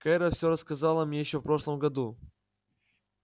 кэро всё рассказала мне ещё в прошлом году